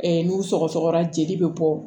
n'u sɔgɔsɔgɔra jeli bɛ bɔ